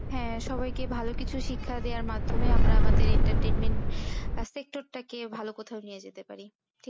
হ্যাঁ সবাইকে ভালো কিছু শিক্ষা দেওয়ার মাধ্যমে আমরা আমাদের entertainment টাকে ভালো কোথাও নিয়ে যেতে পারি।